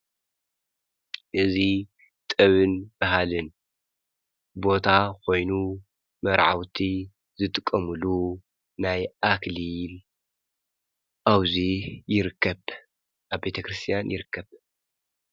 እዙ ጠብን ባሃልን ቦታ ኾይኑ መረዓውቲ ዝትቀሙሉ ናይ ኣክሊል ኣውዙይ ይርከብ ኣብ ቤተ ክርስቲያን ይርከብ።